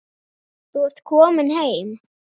Þú ert komin heim.